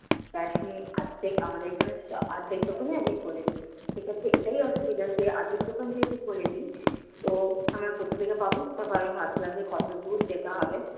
বেসন অর্ধেক আমাদের এখানে ছিল অর্ধেক দোকানে, এখনো খুলেনি। সেক্ষেত্রে এটাই অসুবিধা যে আজকে দোকান যেহেতু খুলেনি, তো আমরা কোথা থেকে পাব? তারপর আমরা ভাবছিলাম যে কতদূর যেতে হবে।